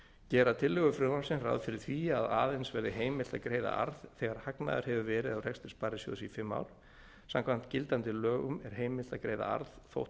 gera tillögur frumvarpsins ráð fyrir því að aðeins verði heimilt að greiða arð þegar hagnaður hefur verið af rekstri sparisjóðs í fimm ár samkvæmt gildandi lögum er heimilt að greiða arð þótt